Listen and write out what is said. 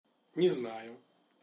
не знаю